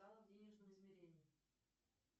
в денежном измерении